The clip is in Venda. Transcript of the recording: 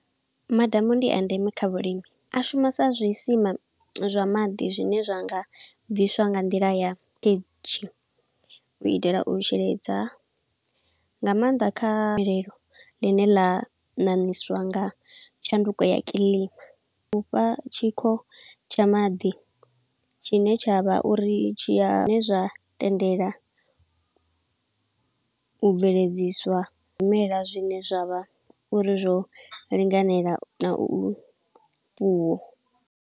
Madamu ndi a ndeme kha vhulimi, a shuma sa zwi sima zwa maḓi zwine zwanga bviswa nga nḓila ya u itela u sheledza. Nga maanḓa kha gomelelo ḽine ḽa ṋaṋiswa nga tshanduko ya kiḽima. U fha tshikho tsha maḓi tshine tsha vha uri tshiya, zwine zwa tendelwa u bveledziswa zwimela zwine zwa vha uri zwo linganela na u fuwo.